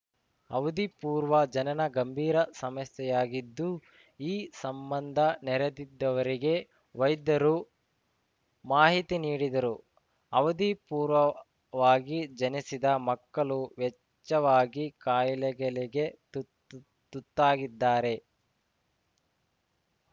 ಅವಧಿಪೂರ್ವ ಜನನ ಗಂಭೀರ ಸಮಸ್ಯೆಯಾಗಿದ್ದು ಈ ಸಂಬಂಧ ನೆರೆದಿದ್ದವರಿಗೆ ವೈದ್ಯರು ಮಾಹಿತಿ ನೀಡಿದರು ಅವಧಿ ಪೂರ್ವವಾಗಿ ಜನಿಸಿದ ಮಕ್ಕಳು ಹೆಚ್ಚಾವಾಗಿ ಕಾಯಿಲೆಗಳಿಗೆ ತುತುತುತ್ತಾಗಿದ್ದಾರೆ